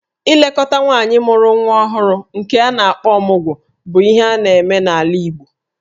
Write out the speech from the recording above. Ilekọta nwaanyị mụrụ nwa nke a na-akpọ 'Ọmụgwọ' bụ ihe a na-eme n'ala Igbo